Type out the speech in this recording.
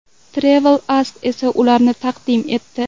Travel Ask esa ularni taqdim etdi.